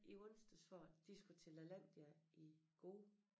I onsdags for de skulle til Lalandia i går